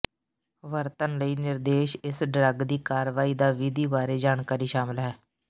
ਵਰਤਣ ਲਈ ਨਿਰਦੇਸ਼ ਇਸ ਡਰੱਗ ਦੀ ਕਾਰਵਾਈ ਦਾ ਵਿਧੀ ਬਾਰੇ ਜਾਣਕਾਰੀ ਸ਼ਾਮਿਲ ਹੈ